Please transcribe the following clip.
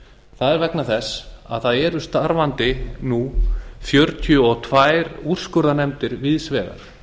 það er vegna þess að það eru starfandi nú fjörutíu og tvær úrskurðarnefndir víðs vegar